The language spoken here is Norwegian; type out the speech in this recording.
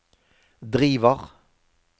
driver